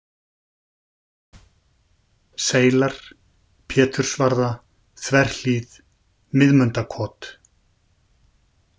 Seilar, Pétursvarða, Þverhlíð, Miðmundakot